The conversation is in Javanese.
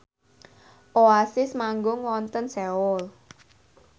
Oasis manggung wonten Seoul